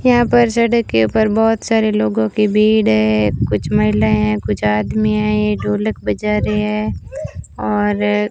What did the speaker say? यहां पर सड़क के ऊपर बहोत सारे लोगों की भीड़ है कुछ महिलाएं हैं कुछ आदमी हैं ये ढोलक बजा रहे हैं और --